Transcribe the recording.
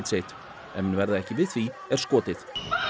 sitt ef menn verða ekki við því er skotið